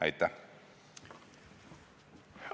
Aitäh!